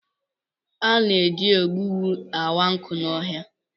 A na-eji egbugbu awa nkụ n'ọhịa